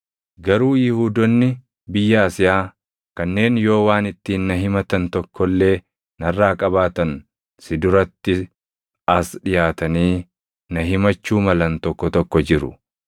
Garuu Yihuudoonni biyya Asiyaa kanneen yoo waan ittiin na himatan tokko illee narraa qabaatan si duratti as dhiʼaatanii na himachuu malan tokko tokko jiru.